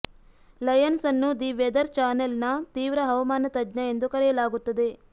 Lions ಅನ್ನು the weather ಚಾನೆಲ್ನ ತೀವ್ರ ಹವಾಮಾನ ತಜ್ಞ ಎಂದು ಕರೆಯಲಾಗುತ್ತದೆ